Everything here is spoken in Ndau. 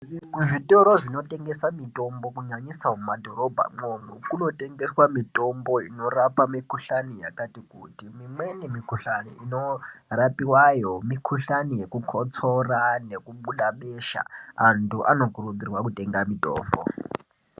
Kuzvitoro zvinotengesa mitombo kunyanyisa mumadhorobha mwomwo munotengeswa mitombo inorapa mikuhlani yakatikuti. Mimweni mikuhlani inorapiwayo mikuhlani yekukotsora nekubuda besha antu anokurudzirwa kutenga mitombo.